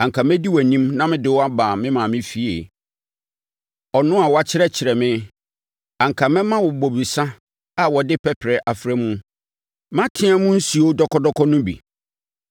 Anka mɛdi wʼanim na mede wo aba me maame efie, ɔno a woakyerɛkyerɛ me. Anka mɛma wo bobesa a wɔde pɛprɛ afra mu, me ateaa mu nsuo dɔkɔ dɔkɔ no bi.